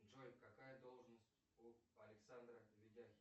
джой какая должность у александра видяхина